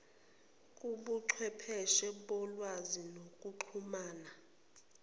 kobuchwepheshe bolwazi nokuxhumana